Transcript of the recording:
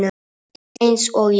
Rétt eins og ég.